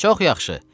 Çox yaxşı.